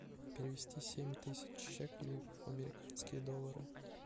перевести семь тысяч шекелей в американские доллары